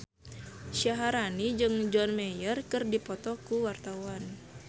Syaharani jeung John Mayer keur dipoto ku wartawan